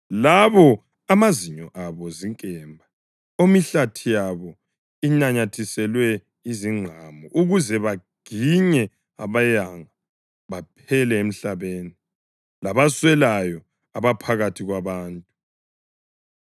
labo omazinyo abo zinkemba, omihlathi yabo inanyathiselwe izingqamu ukuze baginye abayanga baphele emhlabeni, labaswelayo abaphakathi kwabantu.